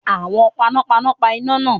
Àwọn panápaná pa iná náà.